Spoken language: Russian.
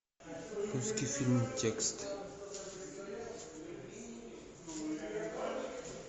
русский фильм текст